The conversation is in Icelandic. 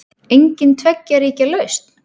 Engin tveggja ríkja lausn?